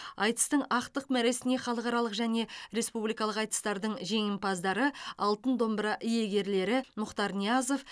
айтыстың ақтық мәресіне халықаралық және республикалық айтыстардың жеңімпаздары алтын домбыра иегерлері мұхтар ниязов